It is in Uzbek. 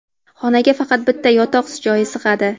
Xonaga faqat bitta yotoq joyi sig‘adi.